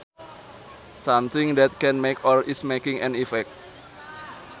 Something that can make or is making an effect